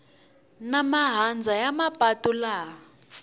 na mahandza ya mapatu laha